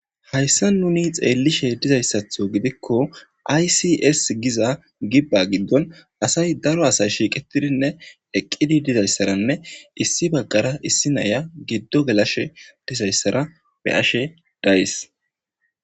hayssa nuni xeellishe dizayssatho gidikko aysis giza gibba giddon asay daro asay shiiqetidinne eqqidi dizayssaranne issi baggara issi naya giddo gelashe dizayssara be ashe dayys